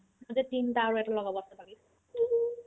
মোৰ যে তিনটা আৰু এটা লগাব আছে বাকি